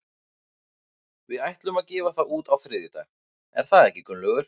Við ætlum að gefa það út á þriðjudag, er það ekki Gunnlaugur?